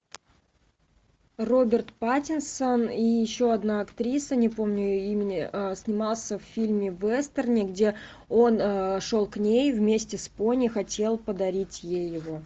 роберт паттинсон и еще одна актриса не помню ее имени снимался в фильме вестерне где он шел к ней вместе с пони хотел подарить ей его